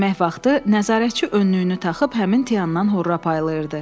Yemək vaxtı nəzarətçi önlüyünü taxıb həmin Tiandan horra paylayırdı.